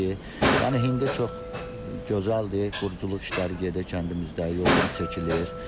Yəni indi çox gözəldir, quruculuq işləri gedir kəndimizdə, yolumuz çəkilir.